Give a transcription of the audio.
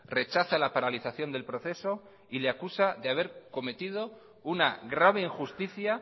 rechaza la paralización del proceso y le acusa de haber cometido una grave injusticia